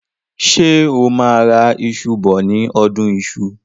Ṣé o máa ra iṣù bọ ní ọdún iṣu?